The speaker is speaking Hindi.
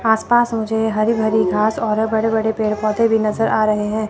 आसपास मुझे हरी भरी घास और बड़े बड़े पेड़ पौधे भी नजर आ रहे हैं।